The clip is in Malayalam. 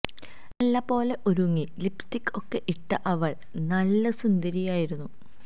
നല്ല പോലെ ഒരുങ്ങി ലിപ്സ്റ്റിക്ക് ഒക്കെ ഇട്ട അവള് നല്ല സുന്ദരിയായിരുന്നു